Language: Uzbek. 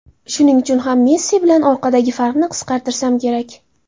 Shuning uchun ham Messi bilan oradagi farqni qisqartirsam kerak.